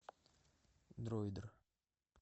дроидер